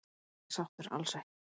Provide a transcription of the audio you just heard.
Ég er ekki sáttur, alls ekki.